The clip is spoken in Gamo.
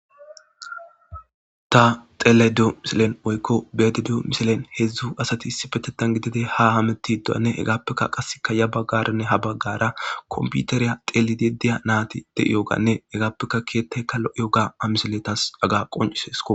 ta tele du miselen oykko beede du miselen hedzdzu asati issi betetan gidide ha hametidonne hegaappekka qasseka ya baggaranne ha baggara kompiuteriya telidi diya naati de7iyoganne hegaappeka kiyettaykka lo7iyo ga amisele tas aga qoncisesko